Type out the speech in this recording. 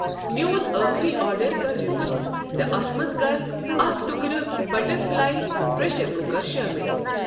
میٚون أخری آرڈر کر رِپیٖٹ تہٕ اتھ مَنٛز کر اکھ ٹُکرٕ بَٹرفلاے پرٛیٖٚشر کُکر شٲمِل۔